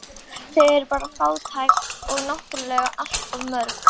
Þau eru bara fátæk og náttúrlega allt of mörg